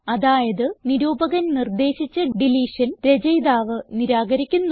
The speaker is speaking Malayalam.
അതായത് നിരൂപകൻ നിർദ്ദേശിച്ച ഡിലീഷൻ രചയിതാവ് നിരാകരിക്കുന്നു